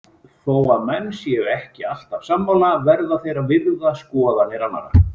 Þó að menn séu ekki alltaf sammála verða þeir að virða skoðanir annara.